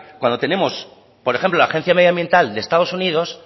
cuando tenemos por ejemplo la agencia medioambiental de estado unidos